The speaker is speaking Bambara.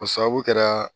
O sababu kɛra